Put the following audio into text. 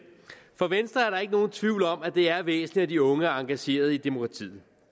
for venstre er der ikke nogen tvivl om at det er væsentligt at de unge er engageret i demokratiet